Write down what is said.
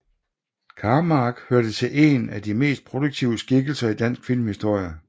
Karmark hører til en af de mest produktive skikkelser i dansk filmhistorie